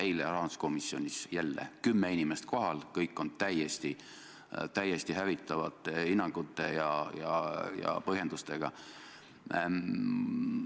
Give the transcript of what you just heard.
Eile rahanduskomisjonis jälle: kümme inimest kohal ja kõik esinevad täiesti hävitavate hinnangute ja põhjendustega.